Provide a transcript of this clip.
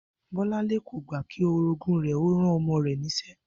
Bó̩láńlé kò gbà kí orogún rè̩ ó ran o̩mo̩ rè̩ nís̩e̩